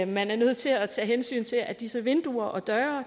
man er nødt til at tage hensyn til at disse vinduer og døre